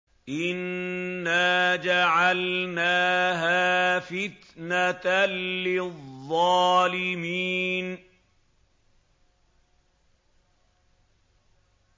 إِنَّا جَعَلْنَاهَا فِتْنَةً لِّلظَّالِمِينَ